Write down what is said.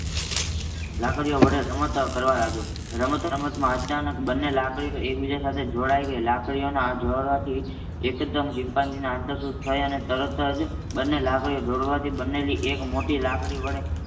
લાકડી ઓ વળે રમત કરવા લાગ્યો રમત રમત માં અચાનક બંને લાકડીઓ એકબીજા સાથે જોડાય ગઈ. લાકડીના આ જોડવાથી એકદમ ચિમ્પાન્જીને આંતરસૂઝ થઈ અને તરત જ બંને લાકડીઓ જોડવાથી બનેલી એક મોટી લાકડી વળે